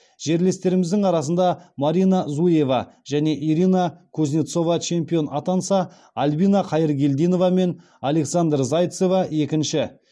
жерлестеріміздің арасында марина зуева және ирина кузнецова чемпион атанса альбина хайыргелдинова мен александра зайцева екінші